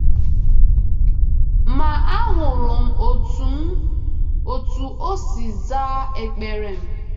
Ma ahụrụ m otú m otú o si zaa ekpere m.’